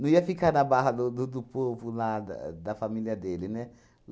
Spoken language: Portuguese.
Não ia ficar na barra do do do povo lá, do da família dele, né?